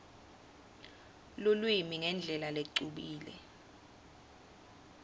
lulwimi ngendlela lecubile